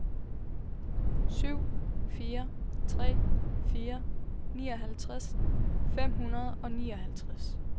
syv fire tre fire nioghalvtreds fem hundrede og nioghalvtreds